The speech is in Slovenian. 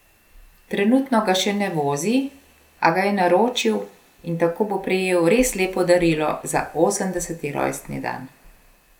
Trenutno ga še ne vozi, a ga je naročil in tako bo prejel res lepo darilo za osemdeseti rojstni dan.